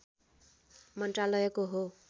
मन्त्रालयको हो